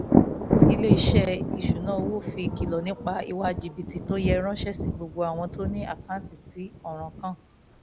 ilé-iṣẹ́ ìṣúnná owó fi ìkìlọ̀ nípa ìwà jìbìtì tó yẹ ránṣẹ́ sí gbogbo àwọn tó ní àkáǹtì tí ọ̀ràn kàn